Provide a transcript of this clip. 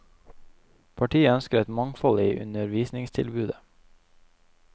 Partiet ønsker et mangfold i undervisningstilbudet.